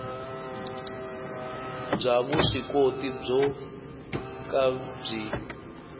bya vuswikoti byo ka byi